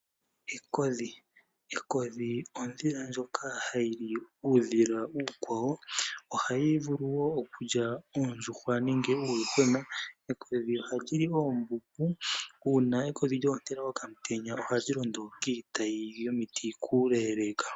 Ekodhi olyo oondhila ndjoka hayi li uudhila ookwawo. Oha yi vulu wo okulya oondjuhwa nenge uuyuhwena. Ekodhi oha li li oombuku. Uuna lya ontela okamutenya, oha li londo kiitayi yomiti kuleeleka.